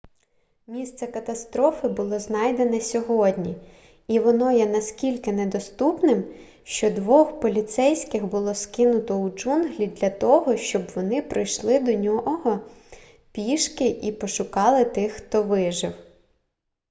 місце катастрофи було знайдене сьогодні і воно є настільки недоступним що двох поліцейських було скинуто у джунглі для того щоб вони пройшли до цього місця пішки і пошукали тих хто вижив